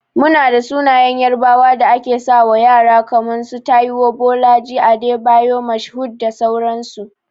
Muna da sunayen yarbawa da ake sawa ƴara kaman su, Taiwo, Bolaji, Adebayor Mashood da sauran su.